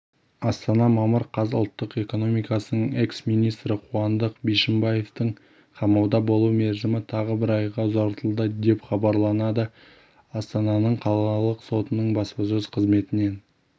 астана мамыр қаз ұлттық экономикасының экс-министрі қуандық бишімбаевтың қамауда болу мерзімі тағы бір айға ұзартылды деп хабарлады астананыңқалалық сотының баспасөз қызметінен